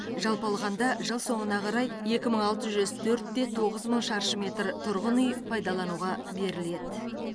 жалпы алғанда жыл соңына қарай екі мың алты жүз төрт те тоғыз мың шаршы метр тұрғын үй пайдалануға беріледі